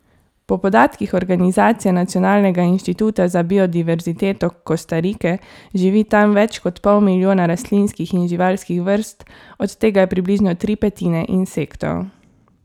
Po podatkih organizacije Nacionalnega inštituta za biodiverziteto Kostarike živi tam več kot pol milijona rastlinskih in živalskih vrst, od tega je približno tri petine insektov.